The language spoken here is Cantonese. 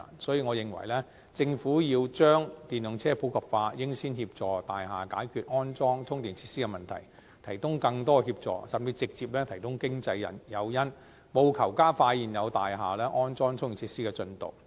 所以，我認為政府要將電動車普及化，應先協助大廈解決安裝充電設施的問題，提供更多協助，甚至直接提供經濟誘因，務求加快現有大廈安裝充電設施的進度。